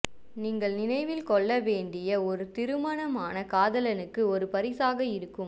நீங்கள் நினைவில் கொள்ள வேண்டிய ஒரு திருமணமான காதலனுக்கு ஒரு பரிசாக இருக்கும்